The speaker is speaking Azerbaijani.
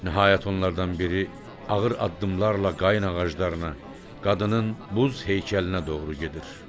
Nəhayət, onlardan biri ağır addımlarla qayna ağaclarına, qadının buz heykəlinə doğru gedir.